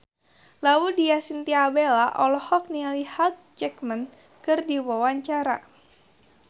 Laudya Chintya Bella olohok ningali Hugh Jackman keur diwawancara